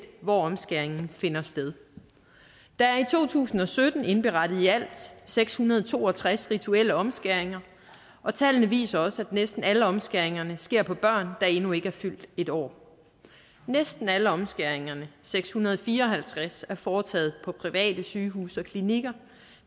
hvor omskæringen finder sted der er i to tusind og sytten indberettet i alt seks hundrede og to og tres rituelle omskæringer og tallene viser også at næsten alle omskæringerne sker på børn der endnu ikke er fyldt en år næsten alle omskæringerne seks hundrede og fire og halvtreds er foretaget på private sygehuse og klinikker